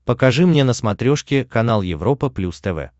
покажи мне на смотрешке канал европа плюс тв